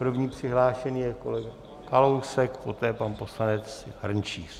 První přihlášený je kolega Kalousek, poté pan poslanec Hrnčíř.